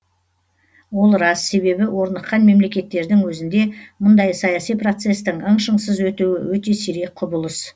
ол рас себебі орныққан мемлекеттердің өзінде мұндай саяси процестің ың шыңсыз өтуі өте сирек құбылыс